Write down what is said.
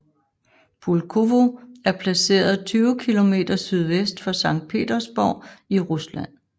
Pulkovo er placeret 20 km sydvest for Sankt Petersborg i Rusland